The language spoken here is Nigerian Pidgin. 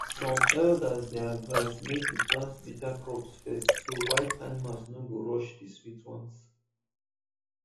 some elders dey advise make you plant bitter crops first so wild animals no go rush the sweet ones